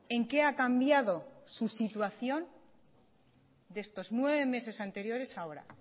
en qué ha cambiado su situación de estos nueve meses anteriores a ahora